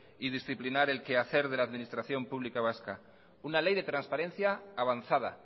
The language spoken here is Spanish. y disciplinar el quehacer de la administración pública vasca una ley de transparencia avanzada